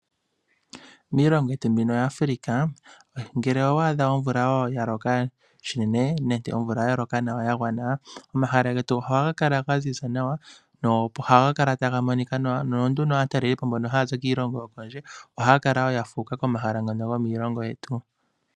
Miilongo yetu mbino ya Africa, ngele owa adha omvula wo ya loka shinene nenge omvula ya loka nawa ya gwana, omahala getu ohaga kala ga ziza nawa, nohaga kala taga monika nawa. Nononduno aatalelipo mbono haya zi kiilongo yokondje ohaya kala wo ya fuuka komahala ngano gomiilongo yetu.